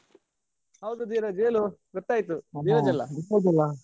ಹೌದು ಧೀರಜ್ ಹೇಳು ಗೊತ್ತಾಯಿತು ಧೀರಜ್ ಅಲಾ?